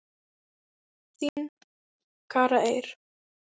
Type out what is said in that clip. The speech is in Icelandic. Þín, Kara Eir.